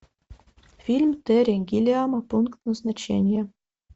фильм терри гиллиама пункт назначения